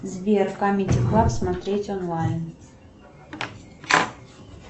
сбер камеди клаб смотреть онлайн